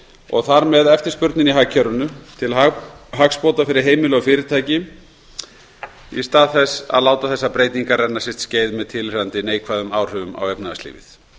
og þar með eftirspurninni í hagkerfinu til hagsbóta fyrir heimili og fyrirtæki í stað þess að láta þessar breytingar renna sitt skeið með tilheyrandi neikvæðum áhrifum á efnahagslífið